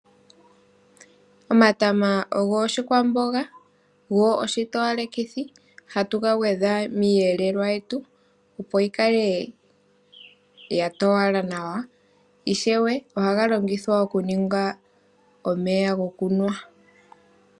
Omatama ogo oshikwamboga go oshitowalekithi. ohatu gagwedha momweelelo gwetu opo yi kale ya towala nawa ,yo ishewe oha tuyi longitha okuninga omeya gokunwa